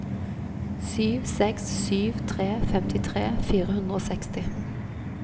sju seks sju tre femtitre fire hundre og seksti